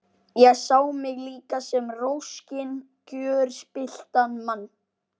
Ég sá mig líka sem roskinn, gjörspilltan mann.